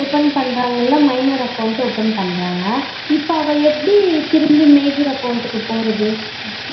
Open பான்றங்களா minor account open பண்றாங்க இப்போ அது எப்டி major account க்கு போறது